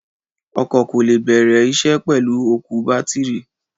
Ọkọ̀ kò lè bẹ̀rẹ̀ isẹ́ pẹ̀lú òkú bátìrì.